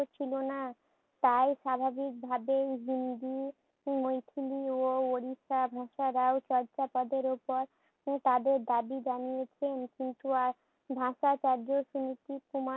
ছিল না। তাই স্বাভাবিকভাবেই হিন্দি, মৈথিলি ও উড়িষ্যার চর্যাপদের উপর তাদের দাবি জানিয়েছেন কিন্তু আহ ভাষাচার্য সুনীতিকুমার